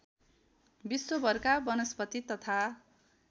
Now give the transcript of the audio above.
विश्वभरका वनस्पति तथा